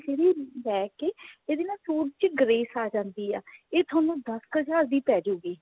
ਜਿਹੜੀ ਲੈਕੇ ਇਹਦੇ ਨਾਲ suit ਚ grace ਆ ਜਾਂਦੀ ਹੈ ਇਹ ਤੁਹਾਨੂੰ ਦਸ ਕ ਹਜ਼ਾਰ ਦੀ ਪੈ ਜੁਗੀ